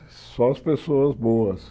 Só as pessoas boas.